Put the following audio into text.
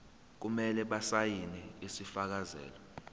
kumele basayine isifakazelo